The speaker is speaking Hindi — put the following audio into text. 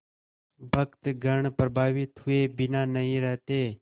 भक्तगण प्रभावित हुए बिना नहीं रहते